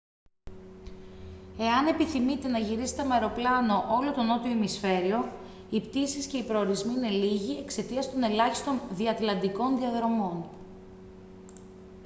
εάν επιθυμείτε να γυρίσετε με αεροπλάνο όλο το νότιο ημισφαίριο οι πτήσεις και οι προορισμοί είναι λίγοι εξαιτίας των ελάχιστων διατλαντικών διαδρομών